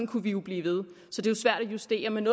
kunne vi jo blive ved så det er svært at justere men